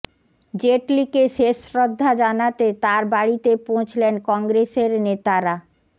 জেটলিকে শেষ শ্রদ্ধা জানাতে তাঁর বাড়িতে পৌঁছলেন কংগ্রেসের নেতারা